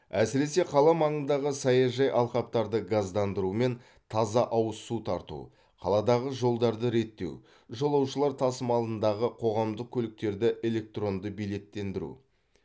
әсіресе қала маңындағы саяжай алқаптарды газдандыру мен таза ауыз су тарту қаладағы жолдарды реттеу жолаушылар тасымалындағы қоғамдық көліктерді электронды билеттендіру